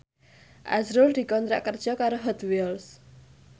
azrul dikontrak kerja karo Hot Wheels